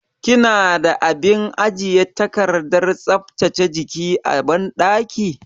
Kina da abin ajiye takardar tsaftace jiki a banɗaki?